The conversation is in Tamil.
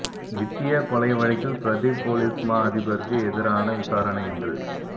வித்தியா கொலை வழக்கில் பிரதிப் பொலிஸ் மா அதிபரிற்கு எதிராகன விசாரணை இன்று